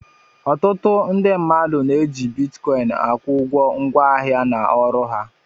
Ọtụtụ ndị mmadụ na-eji bitkọịn akwụ ụgwọ ngwaahịa na ọrụ ha.